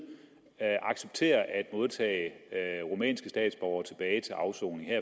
accepterer at modtage rumænske statsborgere tilbage til afsoning her